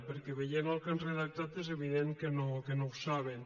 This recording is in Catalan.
perquè veient el que han redactat és evident que no ho saben